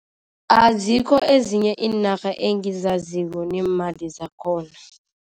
Azikho ezinye iinarha engizaziko neemali zakhona.